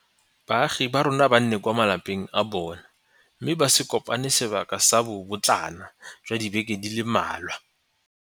baagi ba rona ba nne kwa malapeng a bona mme ba se kopane sebaka sa bobotlana jwa dibeke di le mmalwa.